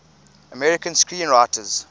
american screenwriters